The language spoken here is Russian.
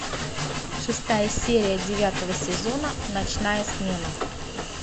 шестая серия девятого сезона ночная смена